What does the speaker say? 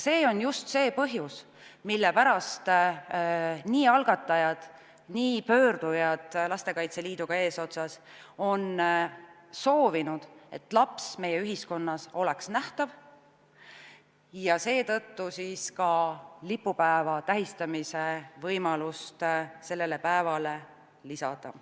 See on just see põhjus, mille pärast algatajad ja pöördujad Lastekaitse Liiduga eesotsas on soovinud, et laps oleks meie ühiskonnas nähtav ja seetõttu võiks ka selle päeva lipupäevana tähistamise võimalus olla lisatud.